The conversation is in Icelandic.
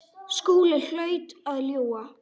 Skúli hlaut að ljúga.